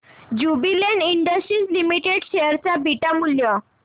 Jubilant industries limited share चे beta मूल्य